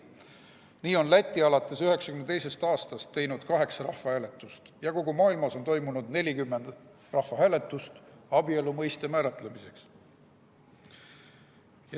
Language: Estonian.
Nii on Läti alates 1992. aastast teinud kaheksa rahvahääletust ja kogu maailmas on toimunud 40 rahvahääletust abielu mõiste määratlemiseks.